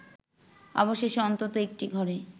অবশেষে অন্তত একটি ঘরে